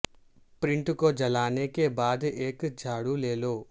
print کو جلانے کے بعد ایک جھاڑو لے لو